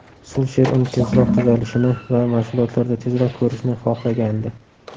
Sulsher uni tezroq tuzalishini va mashg‘ulotlarda tezroq ko‘rishni xohlagandi.